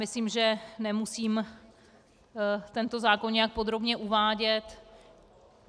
Myslím, že nemusím tento zákon nijak podrobně uvádět.